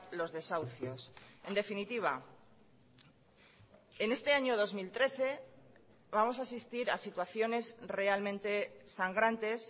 los desahucios en definitiva en este año dos mil trece vamos a asistir a situaciones realmente sangrantes